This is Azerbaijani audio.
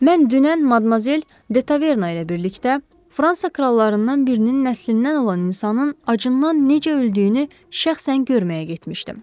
Mən dünən Madmazel Detaverna ilə birlikdə Fransa krallarından birinin nəslindən olan insanın acından necə öldüyünü şəxsən görməyə getmişdim.